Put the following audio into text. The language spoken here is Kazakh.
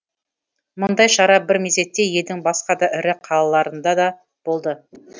мұндай шара бір мезетте елдің басқа да ірі қалаларында да болды